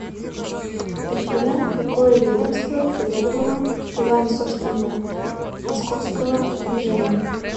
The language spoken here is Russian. афина какое ведомство заведовало делами собственно московского княжения